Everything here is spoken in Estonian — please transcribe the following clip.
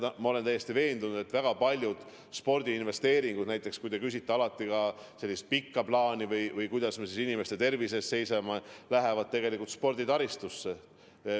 Ma olen täiesti veendunud, et väga paljud spordiinvesteeringud – te ju küsite alati ka sellise pika plaani kohta, kuidas me inimeste tervise eest seisame – lähevad sporditaristusse.